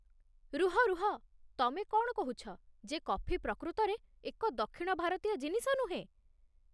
ରୁହ ରୁହ ! ତମେ କ'ଣ କହୁଛ ଯେ କଫି ପ୍ରକୃତରେ ଏକ ଦକ୍ଷିଣ ଭାରତୀୟ ଜିନିଷ ନୁହେଁ?